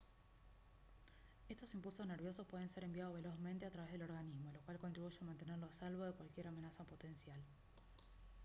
estos impulsos nerviosos pueden ser enviados velozmente a través del organismo lo cual contribuye a mantenerlo a salvo de cualquier amenaza potencial